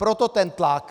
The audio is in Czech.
Proto ten tlak.